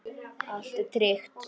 Allt er tryggt.